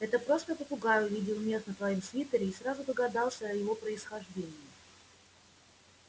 это просто попугай увидел мех на твоём свитере и сразу догадался о его происхождении